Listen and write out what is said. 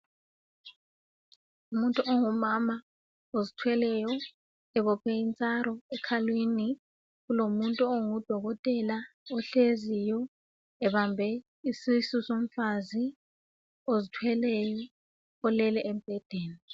Umuntu ongumama ozithweleyo ebophe intsaro ekhalweni. Kulomuntu ongudokogela ohleziyo ebambe isusu somfazi ozithweleyo olele embhedeni.